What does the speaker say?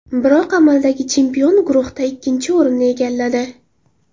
Biroq amaldagi chempion guruhda ikkinchi o‘rinni egalladi.